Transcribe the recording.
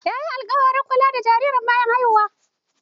Yayi alƙawarin kula da jaririn bayan haihuwa.